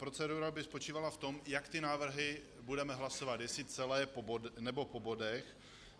Procedura by spočívala v tom, jak ty návrhy budeme hlasovat, jestli celé, nebo po bodech.